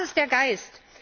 Das ist der Geist.